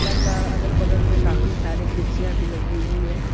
का अगल बगल में काफी सारी कुर्सियां भी लगी हुई है।